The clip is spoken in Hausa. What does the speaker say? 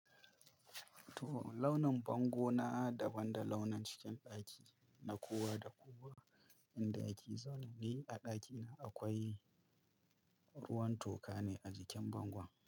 Toh launin bango na daban da launin cikin ɗaki na kowa da kowa inda yake zaune. Ni a ɗakina akwai ruwan toka ne a jikin bangon.